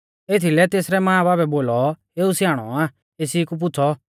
एथीलै तेसरै मांबाबै बोलौ एऊ स्याणौ आ एसी कु पुछ़ौ